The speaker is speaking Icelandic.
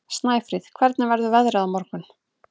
Snæfríð, hvernig verður veðrið á morgun?